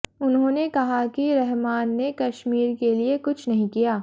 उन्होंने कहा कि रहमान ने कश्मीर के लिए कुछ नहीं किया